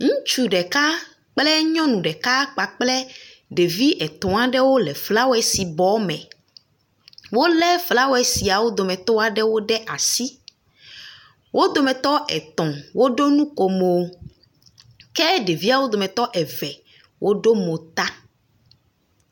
Ŋutsu ɖeka kle nyɔnu ɖeka kpakple ɖevi etɔ̃ aɖewo le flawesi bɔ me. Wole flawesi aɖewo ɖe asi. Wo dometɔ etɔ̃ woɖo nukomo ke ɖeviawo dometɔ eve woɖo mo ta.